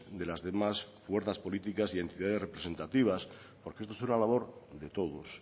de las demás fuerzas políticas y entidades representativas porque esto es una labor de todos